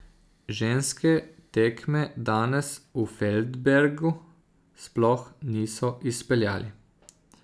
Ženske tekme danes v Feldbergu sploh niso izpeljali.